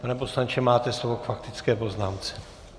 Pane poslanče, máte slovo k faktické poznámce.